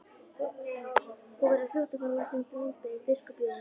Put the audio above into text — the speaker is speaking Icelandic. Þá verður fljótt að fara úr þér drambið, biskup Jón!